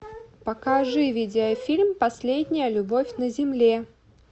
покажи видеофильм последняя любовь на земле